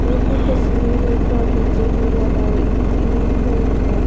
यह तस्वीर एक बगीचे की लगाई इ हुई है।